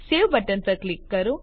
save button પર click કરો